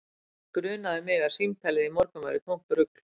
Enda grunaði mig að símtalið í morgun væri tómt rugl